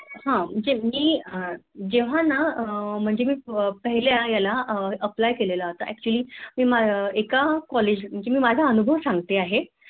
अह म्हणजे मी जेव्हा अह मी म्हणजे पहिल्या यालं अह Apply केले होता Actually एका College म्हणजे मी माझा अनुभव सांगते आहे